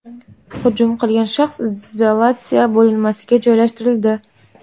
Hujum qilgan shaxs izolyatsiya bo‘linmasiga joylashtirildi.